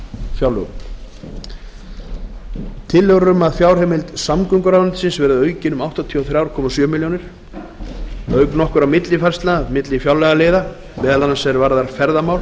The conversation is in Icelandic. fjárlögum tillögur eru um að fjárheimild samgönguráðuneytis verði aukin um áttatíu og þrjú komma sjö milljónir króna auk nokkurra millifærslna milli fjárlagaliða meðal annars er varðar ferðamál